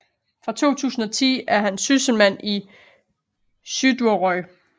Fra 2010 er han sysselmand i Suðuroy